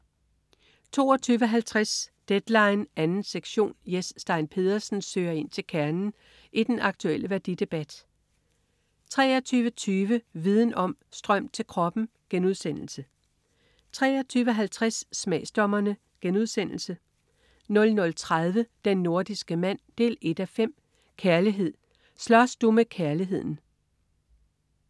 22.50 Deadline 2. sektion. Jes Stein Pedersen søger ind til kernen i den aktulle værdidebat 23.20 Viden om: Strøm til kroppen* 23.50 Smagsdommerne* 00.30 Den nordiske mand 1:5. Kærlighed. Slås du med kærligheden?